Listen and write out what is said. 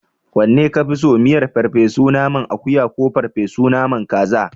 Wanne ka fi so? Miyar ferfe su naman akuya ko ferfe su naman kaza?